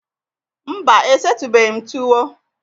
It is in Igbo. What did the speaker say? Mba, e setubeghi m tuwo